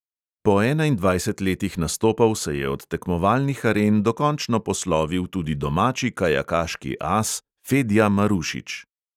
Po enaindvajset letih nastopov se je od tekmovalnih aren dokončno poslovil tudi domači kajakaški as fedja marušič.